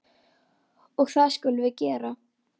Og það skulum við gera.